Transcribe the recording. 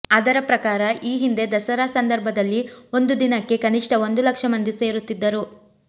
ಅದರ ಪ್ರಕಾರ ಈ ಹಿಂದೆ ದಸರಾ ಸಂದರ್ಭದಲ್ಲಿ ಒಂದು ದಿನಕ್ಕೆ ಕನಿಷ್ಠ ಒಂದು ಲಕ್ಷ ಮಂದಿ ಸೇರುತ್ತಿದ್ದರು